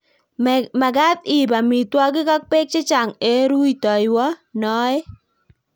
Mekat iib amitwogik ak beek chechang' eng' ruitoiwo noe